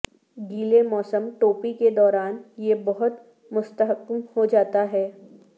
گیلے موسم ٹوپی کے دوران یہ بہت مستحکم ہو جاتا ہے